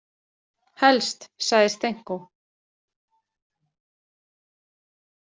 Helst, sagði Stenkó.